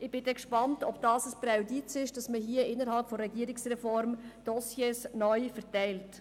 Ich bin gespannt, ob es ein Präjudiz ist, sodass man innerhalb der Regierungsreform Dossiers neu verteilt.